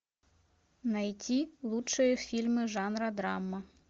найти лучшие фильмы жанра драма